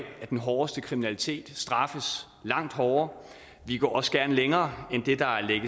at den hårdeste kriminalitet straffes langt hårdere vi går også gerne længere end det der